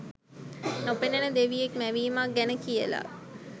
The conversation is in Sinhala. නොපෙනෙන දෙවියෙක් මැවීමක් ගැන කියලා